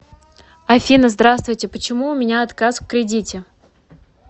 афина здравствуйте почему у меня отказ в кредите